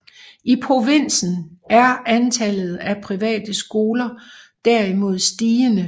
I provinsen er antallet af private skoler derimod stigende